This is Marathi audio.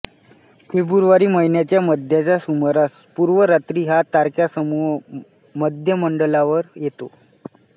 फेब्रुवारी महिन्याच्या मध्याच्या सुमारास पूर्व रात्री हा तारकासमूह मध्यमंडलावर येतो